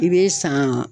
I bɛ san